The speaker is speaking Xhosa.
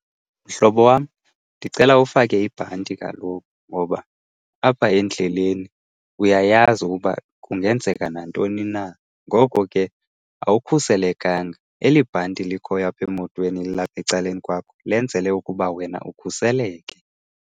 Mhlobo wam ndicela ufake ibhanti kaloku ngoba apha endleleni uyayazi ukuba kungenzeka nantoni na, ngoko ke awukhuselekanga. Eli bhanti likhoyo apha emotweni lilapha ecaleni kwakho lenzelwe ukuba wena ukhuseleke.